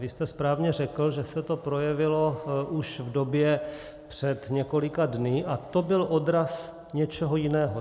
Vy jste správně řekl, že se to projevilo už v době před několika dny, a to byl odraz něčeho jiného.